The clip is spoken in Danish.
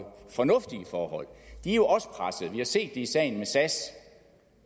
fornuftige forhold de er jo også pressede vi har set det i sagen med sas de